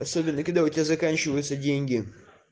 особенно когда у тебя заканчиваются деньги